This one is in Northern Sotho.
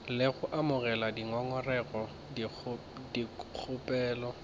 le go amogela dingongorego dikgopelo